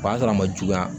O b'a sɔrɔ a ma juguya